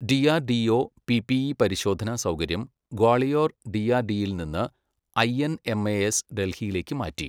DRDO PPE പരിശോധന സൗകര്യം ഗ്വാളിയോർ ഡിആർഡിഇയിൽ നിന്ന് ഐഎൻ എംഎഎസ് ഡൽഹിയിലേക്ക് മാറ്റി